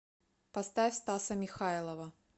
поставь стаса михайлова